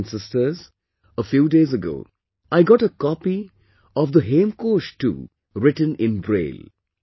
Brothers and sisters, a few days ago, I got a copy of the Hemkosh too written in Braille